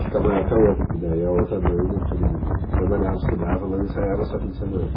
E ficar maior que a outra, porque daí a outra banda todo mundo trabalhava, estudava, mas ensaiava só fim de semana.